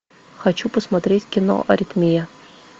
хочу посмотреть кино аритмия